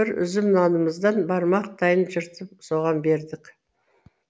бір үзім нанымыздан бармақтайын жыртып соған бердік